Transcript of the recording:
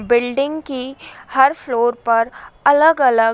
building की हर floor पर अलग अलग --